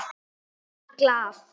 Ég var í Glað.